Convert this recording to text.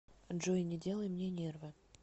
джой не делай мне нервы